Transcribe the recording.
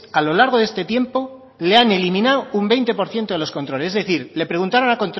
a lo largo de este tiempo le han eliminado un veinte por ciento de los controles es decir le preguntaron